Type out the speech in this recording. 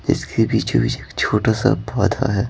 इसके बीचो बीच एक छोटा सा पौधा है।